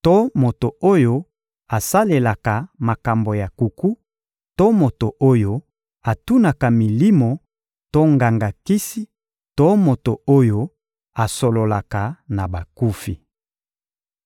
to moto oyo asalelaka makambo ya nkuku to moto oyo atunaka milimo to nganga-kisi to moto oyo asololaka na bakufi.